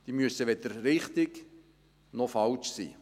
Die müssen weder richtig noch falsch sein.